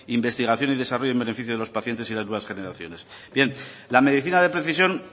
investigación y desarrollo en beneficio de los pacientes y de las nuevas generaciones bien la medicina de precisión